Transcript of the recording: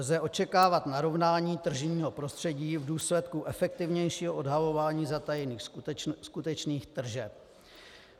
Lze očekávat narovnání tržního prostředí v důsledku efektivnějšího odhalování zatajených skutečných tržeb.